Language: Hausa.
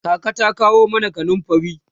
kaka ta kawo mana kanumfari